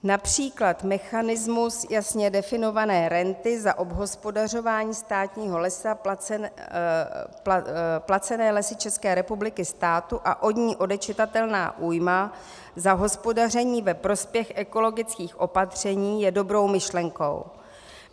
Například mechanismus jasně definované renty za obhospodařování státního lesa placené Lesy České republiky státu a od ní odečitatelná újma za hospodaření ve prospěch ekologických opatření je dobrou myšlenkou.